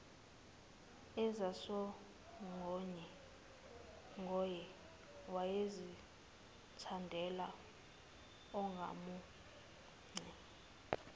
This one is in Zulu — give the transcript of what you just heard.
ezasongoye wayezithandela oncamunce